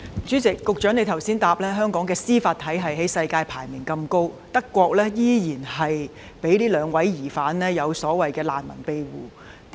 主席，局長剛才在答覆中指出，香港的司法體系世界排名前列，惟德國依然讓這兩位疑犯獲得所謂的難民庇護。